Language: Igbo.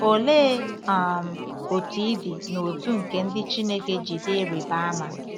Olee um otú ịdị n’otu nke ndị Chineke ji dị ịrịba ama?